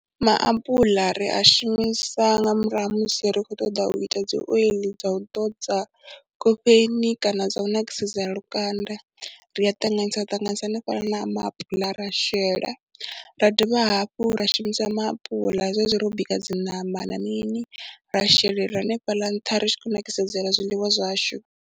Maapuḽa ri a shumisa nga murahu ha musi ri khou ṱoḓa u ita dzi oiḽi dza u ḓodza khofheni kana dza u nakisedzela lukanda, ri a ṱanganyisa ṱanganyisa hanefhaḽa na maapula ra shela, ra dovha hafhu ra shumisa maapula zwezwi ro bika dzi ṋama na mini, ra shelela hanefhaḽa nṱha ri tshi khou nakisedzela zwiḽiwa zwashu.